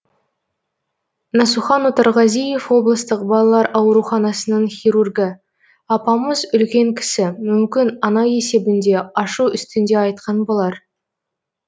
насухан отарғазиев облыстық балалар ауруханасының хирургі апамыз үлкен кісі мүмкін ана есебінде ашу үстінде айтқан болар